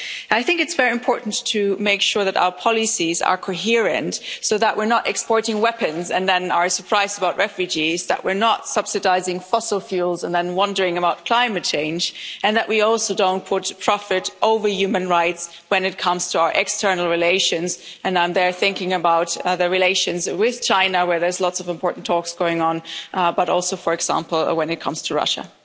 I think it's very important to make sure that our policies are coherent so that we're not exporting weapons and then are surprised about refugees, that were not subsidising fossil fuels and then wondering about climate change, and that we also don't put profits over human rights when it comes to our external relations and I'm thinking about relations with China, where there's lots of important talks going on, but also, for example, when it comes to Russia.